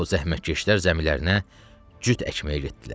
O zəhmətkeşlər zəmilərinə cüt əkməyə getdilər.